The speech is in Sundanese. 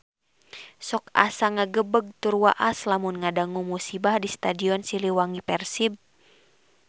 Sok asa ngagebeg tur waas lamun ngadangu musibah di Stadion Siliwangi Persib